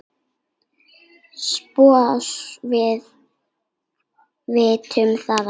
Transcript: SOPHUS: Við vitum það ekki.